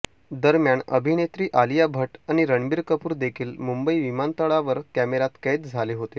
दरम्यान अभिनेत्री आलिया भट्ट आणि रणबीर कपूर देखील मुंबई विमानतळावर कॅमेऱ्यात कैद झाले होते